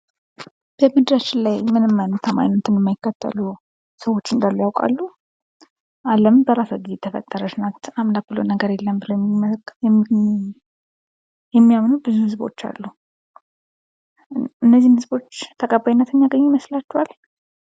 በምድራችን ላይ ምንም አይነት ሃይማኖትን የማይከተሉ ሰዎች እንዳሉ ያውቃሉ? አለም በራሷ ጊዜ የተፈጠረች ናት አምላክ ብሎ ነገር የለም ብለው የሚያምኑ ብዙ ህዝቦች አሉ። እነዚህ ህዝቦች ተቀባይነት የሚያገኙ ይመስላችኋል?